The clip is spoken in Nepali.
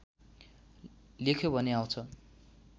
लेख्यो भने आउँछ